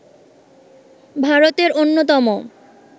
ভারতের অন্যতম